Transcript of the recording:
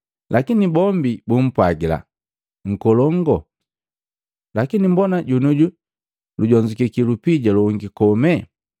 Lakini bombi bumpwagila, ‘Nkolongu, lakini mbona jonioju lujonzukiki lupija longi kome!’